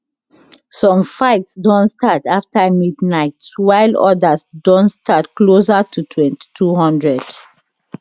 some fights don start afta midnight while odas don start closer to 2200